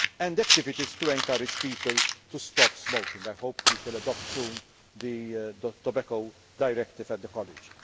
consumption and activities to encourage people to stop smoking I hope we will soon adopt the Tobacco Directive